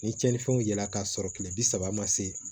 Ni cɛnnifɛnw yela k'a sɔrɔ kile bi saba ma se